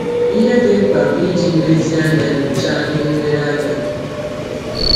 Ihe dị mkpa bụ iji nlezianya nyochaa ihe nlereanya gị.